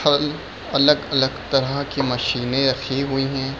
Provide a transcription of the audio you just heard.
खाली अलग-अलग तरह की मशीने रखी हुई है।